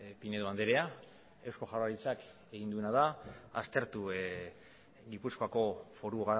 pinedo andrea eusko jaurlaritzak egin duena da aztertu gipuzkoako foru